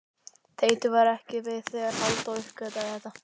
Teitur var ekki við þegar Halldór uppgötvaði þetta.